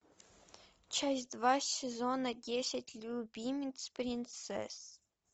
часть два сезона десять любимец принцесс